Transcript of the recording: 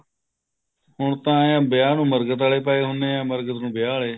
ਹੁਣ ਤਾਂ ਇਹ ਹੈ ਵਿਆਹ ਨੂੰ ਮਰਗਤ ਆਲੇ ਪਾਏ ਹੁਣੇ ਹੈ ਮਰਗਤ ਨੂੰ ਵਿਆਹ ਆਲੇ